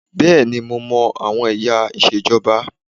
Bẹ́ẹ̀ni mo má àwọn ẹ̀yà ìṣèjọba